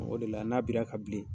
O de la, n'a bira ka bilen